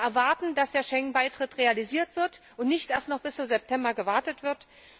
Wir erwarten, dass der Schengen Beitritt realisiert wird und dass nicht noch bis zum September gewartet wird.